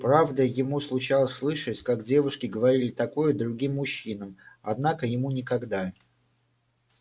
правда ему случалось слышать как девушки говорили такое другим мужчинам однако ему никогда